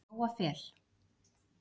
Hjá Jóa Fel.